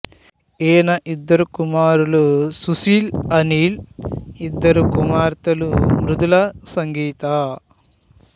ఈయన ఇద్దరు కుమారులు సుషీల్ అనిల్ ఇద్దరు కుమార్తెలు మృదుల సంగీత